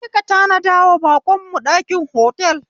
Je ka tanadawa baƙon mu ɗakin otal